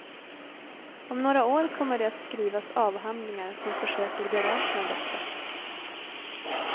Om några år kommer det att skrivas avhandlingar som försöker beräkna detta.